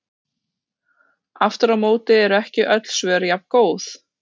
Aftur á móti eru ekki öll svör jafngóð.